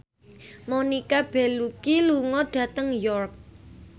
Monica Belluci lunga dhateng York